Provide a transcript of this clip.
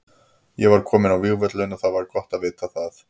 Ég var kominn á vígvöllinn og það var gott að vita það.